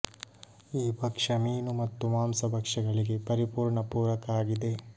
ಈ ಭಕ್ಷ್ಯ ಮೀನು ಮತ್ತು ಮಾಂಸ ಭಕ್ಷ್ಯಗಳಿಗೆ ಪರಿಪೂರ್ಣ ಪೂರಕ ಆಗಿದೆ